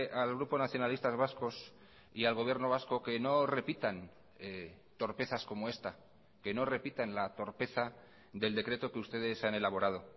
al grupo nacionalistas vascos y al gobierno vasco que no repitan torpezas como esta que no repitan la torpeza del decreto que ustedes han elaborado